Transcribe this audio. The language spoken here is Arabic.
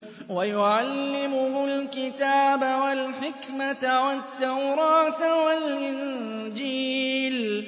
وَيُعَلِّمُهُ الْكِتَابَ وَالْحِكْمَةَ وَالتَّوْرَاةَ وَالْإِنجِيلَ